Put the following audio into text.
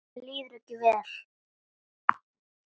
Mér líður ekki vel.